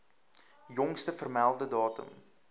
jongste vermelde datum